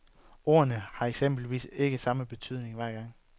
Ordene har eksempelvis ikke samme betydning hver gang.